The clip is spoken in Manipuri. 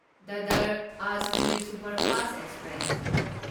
Dadar Ajmer superfast express